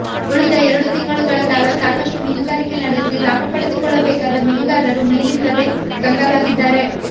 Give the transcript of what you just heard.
ಉಳಿದ ಎರಡು ತಿಂಗಳುಗಳ ಕಾಲ ಸಾಕಷ್ಟು ಮೀನುಗಾರಿಕೆ ನಡೆಸಿ ಲಾಭ ಪಡೆದು ಕೊಳ್ಳಬೇಕಾದ ಮೀನುಗಾರರು ಮೀನಿಲ್ಲದೆ ಕಂಗಾಲಾಗಿದ್ದಾರೆ